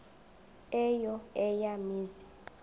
eyo eya mizi